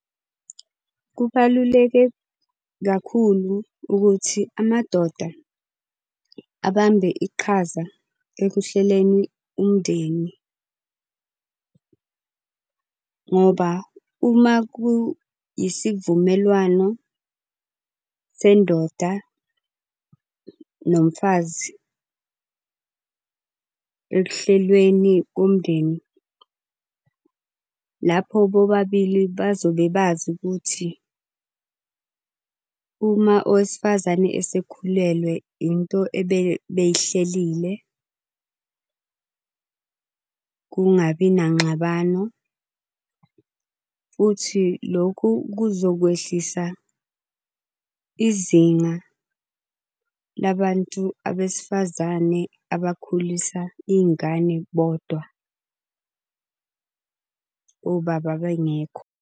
Kubaluleke kakhulu ukuthi amadoda abambe iqhaza ekuhleleni umndeni. Ngoba uma ku isivumelwano sendoda nomfazi ekuhlelweni komndeni, lapho bobabili bazobe bazi ukuthi uma owesifazane esekhulelwe into ebey'hlelile, kungabi nangxabano. Futhi lokhu kuzokwehlisa izinga labantu abesifazane abakhulisa iy'ngane bodwa, obaba bengekho.